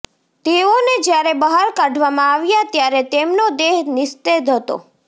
તેઓને જ્યારે બહાર કાઢવામાં આવ્યા ત્યારે તેમનો દેહ નિસ્તેજ હતો